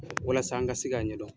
Walasa n ka se k'a ɲɛdɔn.